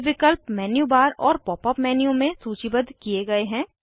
ये विकल्प menu bar और पॉप अप मेन्यू में सूचीबद्ध किये गए हैं